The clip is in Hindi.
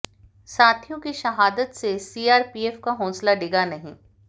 साथियों की शहादत से सीआरपीएफ का हौसला डिगा नहीं